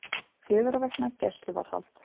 Fjögurra vikna gæsluvarðhald